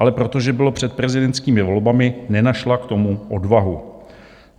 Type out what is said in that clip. Ale protože bylo před prezidentskými volbami, nenašla k tomu odvahu.